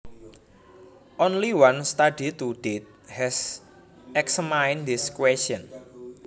Only one study to date has examined this question